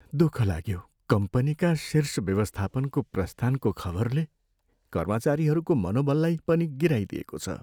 दुख लाग्यो कम्पनीका शीर्ष व्यवस्थापनको प्रस्थानको खबरले कर्मचारीहरूको मनोबललाई पनि गिराइदिएको छ।